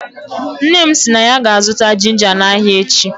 Nne m si na ya ga-azụta ginga na ahịa echi.